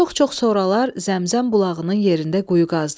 Çox-çox sonralar Zəmzəm bulağının yerində quyu qazdılar.